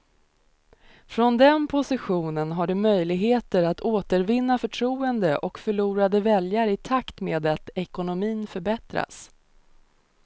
Från den positionen har de möjligheter att återvinna förtroende och förlorade väljare i takt med att ekonomin förbättras.